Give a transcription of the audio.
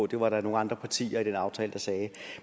det var der nogle andre partier i den aftale der sagde